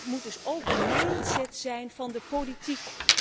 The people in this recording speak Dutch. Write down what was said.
Dat moet dus ook de mind set zijn van de politiek.